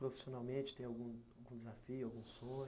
Profissionalmente, tem algum desafio, algum sonho?